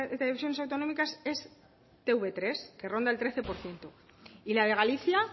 televisiones autonómicas es te uve tres que ronda el trece por ciento y la de galicia